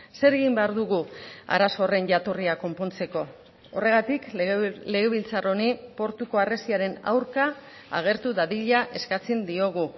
zer egin behar dugu arazo horren jatorria konpontzeko horregatik legebiltzar honi portuko harresiaren aurka agertu dadila eskatzen diogu